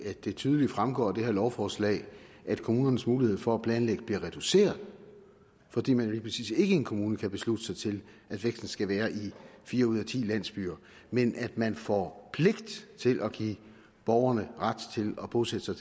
at det tydeligt fremgår af det her lovforslag at kommunernes mulighed for at planlægge bliver reduceret fordi man lige præcis ikke i en kommune kan beslutte sig til at væksten skal være i fire ud af ti landsbyer men at man får pligt til at give borgerne ret til at bosætte sig